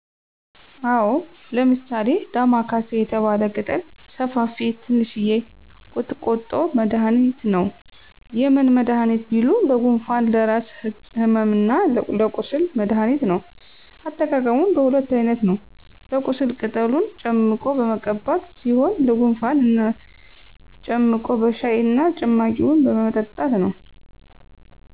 አወ ለምሳሌ ዳማካሴ የተባለ ቅጠለ ሰፍፊ ትንሽየ ቁጥቆጦ መድኃኒት ነው። የምን መዳኒት ቢሉ ለጉንፍን ለራስ ህመምና ለቁስል መድኃኒት ነው አጠቃቀሙም በሁለት አይነት ነው ለቁስል ቅጠሉን ጨምቆ በመቀባት ሲሆን ለጉንፍን እና ጨምቆ በሻይ እና ጭማቂውን በመጠጣት ነው